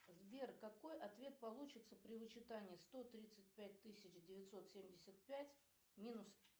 сбер какой ответ получится при вычитании сто тридцать пять тысяч девятьсот семьдесят пять минус